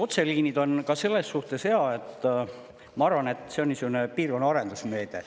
Otseliinid on ka selles suhtes head, ma arvan, et see on niisugune piirkonna arendusmeede.